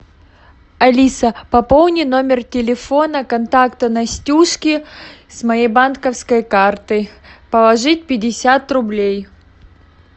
алиса пополни номер телефона контакта настюшки с моей банковской карты положи пятьдесят рублей